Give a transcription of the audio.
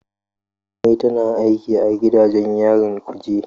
Jummai tana aiki a gidajen yarin kuje.